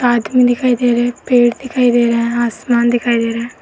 आदमी दिखाई दे रहे है। पेड़ दिखाई दे रहे है। आसमान दिखाई दे रहे है।